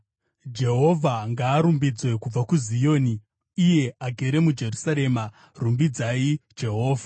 Jehovha ngaarumbidzwe kubva kuZioni, iye agere muJerusarema. Rumbidzai Jehovha.